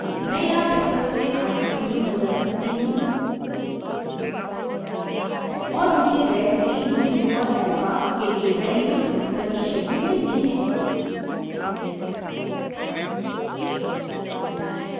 मैं यहाँ pixel से rgb में बदल सकती हूँ और मुझे red green blue और alpha के लिए values प्रतिशत में मिलती हैं